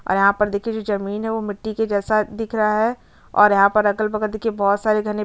और यहाँ पर देखिये जमीन है ओ मिट्ठी की जैसा दिख रहा है और यहाँ पर अगल-बगल देखिये बहोत सारे घने --